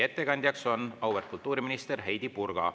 Ettekandja on auväärt kultuuriminister Heidy Purga.